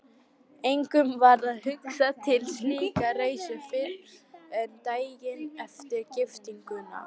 Engum varð hugsað til slíkrar reisu fyrren daginn eftir giftinguna.